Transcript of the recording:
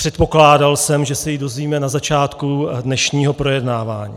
Předpokládal jsem, že se ji dozvíme na začátku dnešního projednávání.